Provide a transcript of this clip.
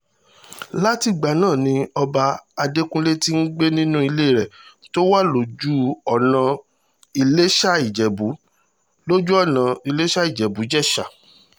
látìgbà náà ni ọba adẹ́kùnlé ti ń gbé nínú ilé rẹ̀ tó wà lójú-ọ̀nà ìlèṣàìjẹ́bù lójú-ọ̀nà ìlèṣàìjẹ́bù jésà